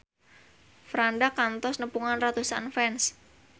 Franda kantos nepungan ratusan fans